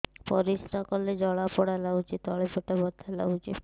ପରିଶ୍ରା କଲେ ଜଳା ପୋଡା ଲାଗୁଚି ତଳି ପେଟ ବଥା ଲାଗୁଛି